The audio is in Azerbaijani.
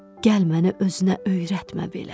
Gəl məni özünə öyrətmə belə.